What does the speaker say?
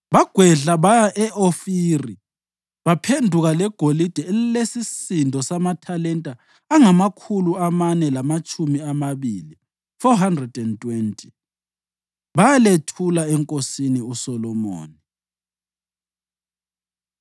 Bagwedla baya e-Ofiri baphenduka legolide elilesisindo samathalenta angamakhulu amane lamatshumi amabili (420), bayalethula enkosini uSolomoni.